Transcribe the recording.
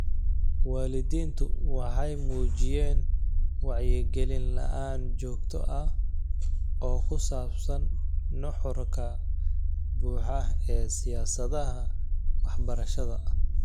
Waalidiintu waxay muujiyeen wacyigelin la'aan joogto ah oo ku saabsan nuxurka buuxa ee siyaasadaha waxbarashada.